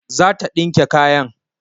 Zata dinke kayan